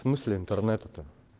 в смысле интернета то